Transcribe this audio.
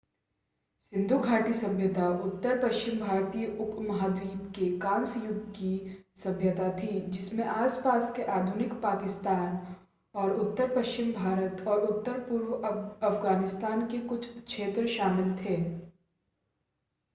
सिंधु घाटी सभ्यता उत्तर-पश्चिम भारतीय उपमहाद्वीप में कांस्य युग की सभ्यता थी जिसमें आस-पास के आधुनिक पाकिस्तान और उत्तर पश्चिम भारत और उत्तर-पूर्व अफ़गानिस्तान के कुछ क्षेत्र शामिल थे